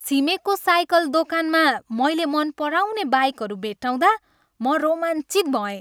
छिमेकको cycle दोकानमा मैले मन पराउने बाइकहरू भेट्टाउँदा म रोमाञ्चित भएँ।